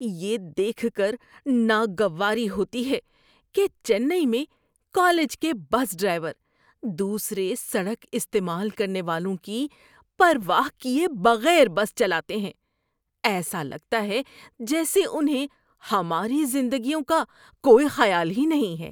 یہ دیکھ کر ناگواری ہوتی ہے کہ چنئی میں کالج کے بس ڈرائیور دوسرے سڑک استعمال کرنے والوں کی پرواہ کیے بغیر بس چلاتے ہیں۔ ایسا لگتا ہے جیسے انہیں ہماری زندگیوں کا کوئی خیال ہی نہیں ہے۔